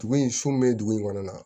Dugu in sun bɛ dugu in kɔnɔ yan nɔ